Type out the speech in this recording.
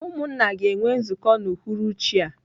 Umunna ga enwe nzuko n'uhuruchi a.